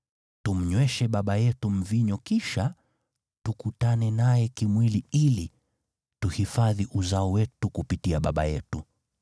Tumnyweshe baba yetu mvinyo kisha tukutane naye kimwili ili tuhifadhi uzao wetu kupitia baba yetu.”